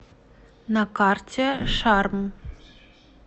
на карте шарм